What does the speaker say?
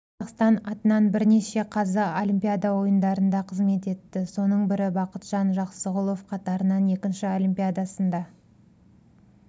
қазақстан атынан бірнеше қазы олимпиада ойындарында қызмет етті соның бірі бақытжан жақсығұлов қатарынан екінші олимпиадасында